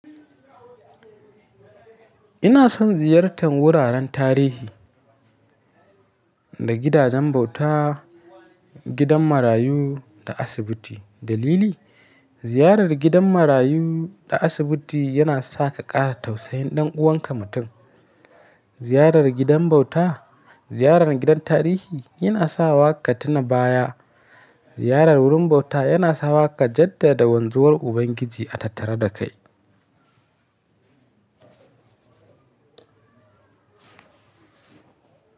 Ina son ziyartan wuraren tarihi, da gidajen bauta, gidan marayu da asibiti. Dalili, ziyarar gidan marayu da asibiti yana sa ka ƙara tausayin ɗan uwanka mutum. Ziyarar gidan bauta, ziyarar gidan tarihi yana sawa ka tuna baya. Ziyarar wurin bauta yana sawa ka jaddada wanzuwar Ubangiji a tattare da kai.